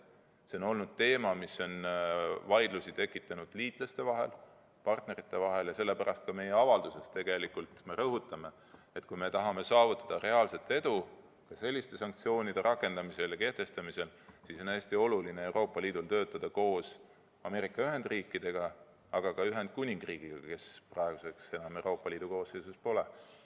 See on olnud teema, mis on tekitanud liitlaste vahel, partnerite vahel vaidlusi, ja sellepärast me ka oma avalduses tegelikult rõhutame, et kui tahame saavutada selliste sanktsioonide kehtestamisel reaalset edu, siis on hästi oluline Euroopa Liidul töötada koos Ameerika Ühendriikidega, aga ka Ühendkuningriigiga, kes praegu enam Euroopa Liidu koosseisus pole.